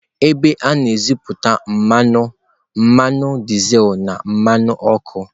Ebe a na-ejuputa mmanụ, mmanụ dizel na mmanụ ọkụ.